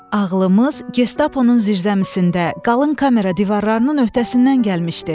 Ağlımız Gestaponun zirzəmisində qalın kamera divarlarının öhdəsindən gəlmişdi.